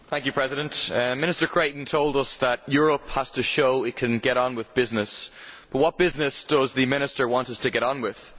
Mr President, Minister Creighton told us that Europe has to show it can get on with business, but what business does the Minister want us to get on with?